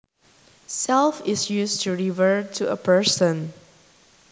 Self is used to refer to a person